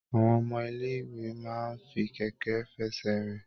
Àwọn ọmọ ilé ìwé máa fi kẹkẹ f'ẹsẹ rìn.